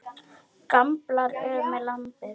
Gamblað er með landið.